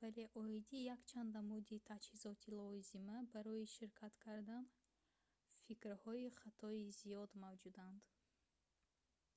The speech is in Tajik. вале оиди якчанд намуди таҷҳизоти лозима барои ширкат кардан фикрҳои хатои зиёд мавҷуданд